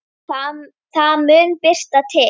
Það mun birta til.